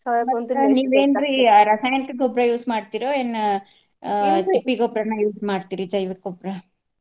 ರಸಾಯನಿಕ ಗೊಬ್ರಾ use ಮಾಡ್ತೀರೊ ಏನ್ ತಿಪ್ಪಿ ಗೊಬ್ರಾನ use ಮಾಡ್ತೀರೊ ಜೈವಿಕ್ ಗೊಬ್ರಾ?